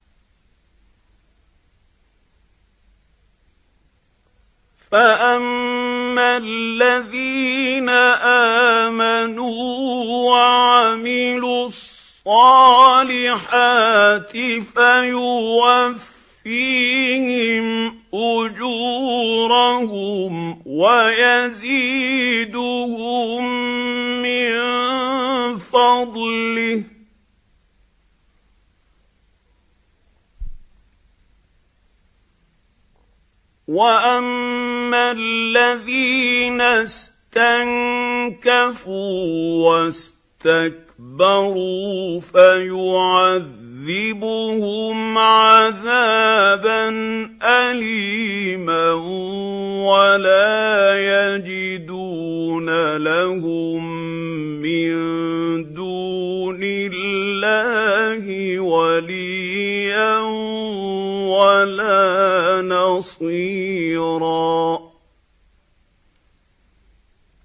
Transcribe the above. فَأَمَّا الَّذِينَ آمَنُوا وَعَمِلُوا الصَّالِحَاتِ فَيُوَفِّيهِمْ أُجُورَهُمْ وَيَزِيدُهُم مِّن فَضْلِهِ ۖ وَأَمَّا الَّذِينَ اسْتَنكَفُوا وَاسْتَكْبَرُوا فَيُعَذِّبُهُمْ عَذَابًا أَلِيمًا وَلَا يَجِدُونَ لَهُم مِّن دُونِ اللَّهِ وَلِيًّا وَلَا نَصِيرًا